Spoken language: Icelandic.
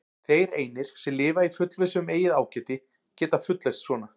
Þeir einir, sem lifa í fullvissu um eigið ágæti, geta fullyrt svona.